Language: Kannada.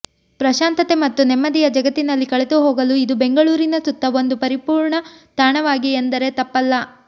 ಪ್ರಶಾಂತತೆ ಮತ್ತು ನೆಮ್ಮದಿಯ ಜಗತ್ತಿನಲ್ಲಿ ಕಳೆದುಹೋಗಲು ಇದು ಬೆಂಗಳೂರಿನ ಸುತ್ತ ಒಂದು ಪರಿಪೂರ್ಣ ತಾಣವಾಗಿದೆ ಎಂದರೆ ತಪ್ಪಲ್ಲ